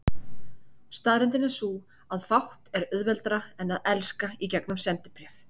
Staðreyndin er sú, að fátt er auðveldara en að elska í gegnum sendibréf.